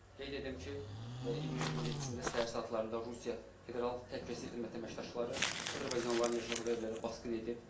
Qeyd edim ki, iyunun 27-də səhər saatlarında Rusiya Federal Təhlükəsizlik Xidmətinin əməkdaşları azərbaycanlıların yaşadığı evlərə basqın edib.